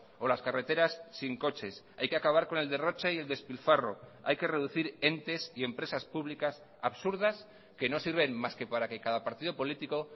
o las carreteras sin coches hay que acabar con el derroche y el despilfarro hay que reducir entes y empresas públicas absurdas que no sirven más que para que cada partido político